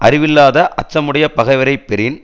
அறிவில்லாத அச்சமுடைய பகைவரை பெறின்